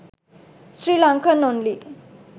srilankan only